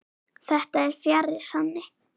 Þetta er fjarri sanni.